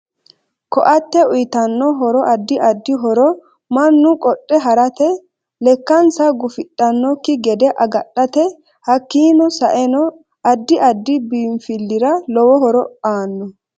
Ko'atte uyiitanno horoaddi addi horo mannu qodhe harate lekkansa gufidhanokki gede agadhate hakiini saenno addi addi biinfilira lowo horo aanno